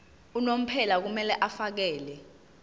unomphela kumele afakele